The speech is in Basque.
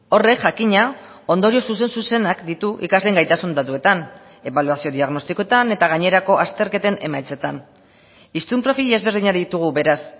horrek jakina ondorio zuzen zuzenak ditu ikasleen gaitasun datuetan ebaluazio diagnostikoetan eta gainerako azterketen emaitzetan hiztun profil ezberdinak ditugu beraz